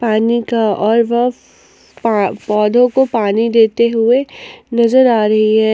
पानी का और वफ़ पौधों को पानी देते हुए नजर आ रही है।